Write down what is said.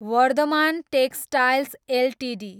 Varthaman textiles Ltd